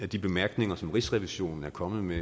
de bemærkninger som rigsrevisionen er kommet med